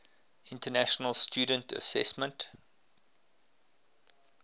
international student assessment